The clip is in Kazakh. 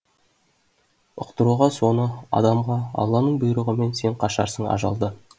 ұқтыруға соны адамға алланың бұйрығымен сен қашарсың ажалдан